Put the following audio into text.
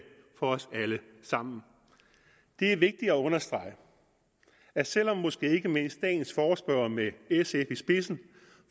for os alle sammen det er vigtigt at understrege at selv om måske ikke mindst dagens forespørgere med sf i spidsen